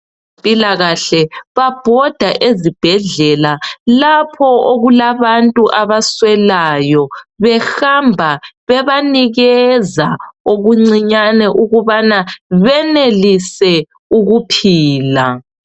Abezempilakahle babhoda ezibhedlela lapho okulabantu abaswelayo behamba bebanikeza okuncinyane ukubana benelise ukuphila.